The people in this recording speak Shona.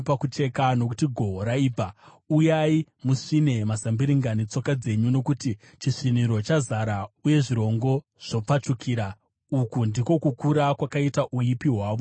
Shandisai jeko, nokuti gohwo raibva. Uyai musvine mazambiringa netsoka dzenyu, nokuti chisviniro chazara, uye zvirongo zvopfachukira, uku ndiko kukura kwakaita kuipa kwavo.”